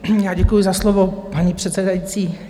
Já děkuji za slovo, paní předsedající.